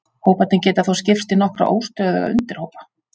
Hóparnir geta þó skipst í nokkra óstöðuga undirhópa.